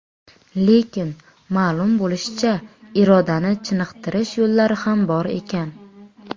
Lekin, ma’lum bo‘lishicha, irodani chiniqtirish yo‘llari ham bor ekan.